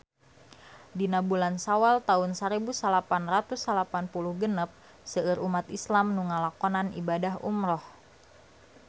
Dina bulan Sawal taun sarebu salapan ratus salapan puluh genep seueur umat islam nu ngalakonan ibadah umrah